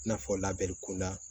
I n'a fɔ labɛn kunda